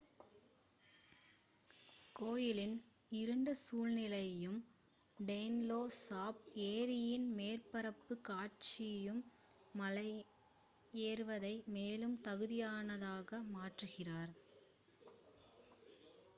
கோயிலின் இருண்ட சூழ்நிலையும் டோன்லே சாப் ஏரியின் மேற்பரப்பு காட்சியும் மலை ஏறுவதை மேலும் தகுதியானதாக மாற்றுகிறது